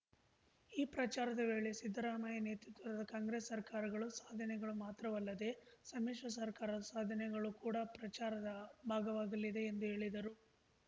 ಈ ಪ್ರಚಾರದ ವೇಳೆ ಸಿದ್ದರಾಮಯ್ಯ ನೇತೃತ್ವದ ಕಾಂಗ್ರೆಸ್‌ ಸರ್ಕಾರಗಳು ಸಾಧನೆಗಳು ಮಾತ್ರವಲ್ಲದೆ ಸಮ್ಮಿಶ್ರ ಸರ್ಕಾರದ ಸಾಧನೆಗಳೂ ಕೂಡ ಪ್ರಚಾರದ ಭಾಗವಾಗಲಿವೆ ಎಂದು ಹೇಳಿದರು